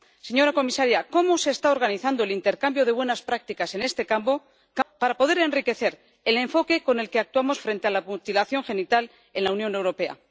Señora comisaria, ¿cómo se está organizando el intercambio de buenas prácticas en este campo para poder enriquecer el enfoque con el que actuamos frente a la mutilación genital en la Unión Europea?